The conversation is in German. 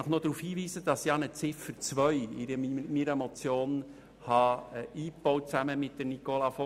Ich möchte Sie zudem darauf hinweisen, dass ich zusammen mit Nicola von Greyerz eine Ziffer 2 eingebaut habe.